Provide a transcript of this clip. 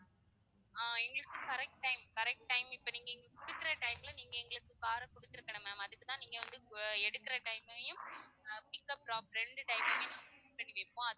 ஆஹ் எங்களுக்கு correct time correct time இப்ப நீங்க எங்களுக்கு குடுக்குற time ல நீங்க எங்களுக்கு car அ கொடுத்திருக்கனும் ma'am அதுக்குதான் நீங்க வந்து அஹ் எடுக்குற time அயும் ஆஹ் pickup drop ரெண்டு time அயும்